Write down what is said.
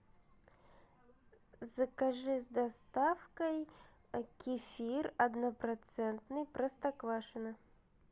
закажи с доставкой кефир однопроцентный простоквашино